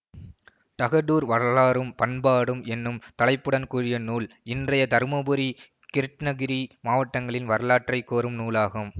தகடூர் வரலாறும் பண்பாடும் என்னும் தலைப்புடன் கூடிய நூல் இன்றைய தருமபுரி கிருட்டிணகிரி மாவட்டங்களின் வரலாற்றை கூறும் நூலாகும்